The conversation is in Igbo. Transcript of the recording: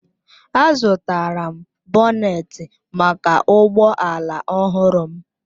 Azụtara m bonet maka ụgbọ ala ọhụrụ m